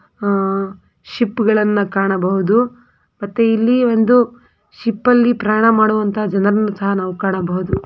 ಆಹ್ಹ್ ಶಿಪ್ಗಳನ್ನ ಕಾಣಬಹುದು ಮತ್ತೆ ಇಲ್ಲಿ ಒಂದು ಶಿಪ್ಪಲ್ಲಿ ಪ್ರಯಾಣಮಾಡುವಂತಹ ಜನರನ್ನು ಸಹ ನಾವು ಕಾಣಬಹುದು.